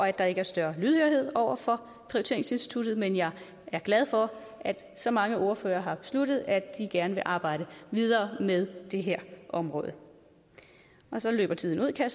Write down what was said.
at der ikke er større lydhørhed over for prioriteringsinstituttet men jeg er glad for at så mange ordførere har besluttet at de gerne vil arbejde videre med det her område så løber tiden ud kan